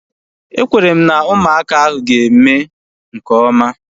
Ekwere m na ụmụaka ahu ga-eme nke oma